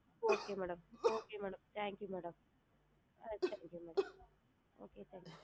Okay madam okay madam thank you madam ஆ madam